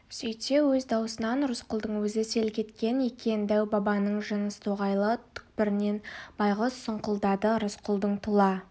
сөйтсе өз даусынан рысқұлдың өзі селк еткен екен дәу-бабаның жыныс тоғайлы түкпірінен байғыз сұңқылдады рысқұлдың тұла